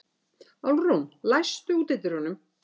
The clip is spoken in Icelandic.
Álfrún, læstu útidyrunum.